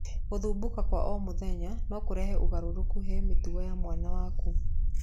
Gũthumbũka kwa o mũthenya no kũrehe ũgarũrũku he mĩtugo ya mwana waku.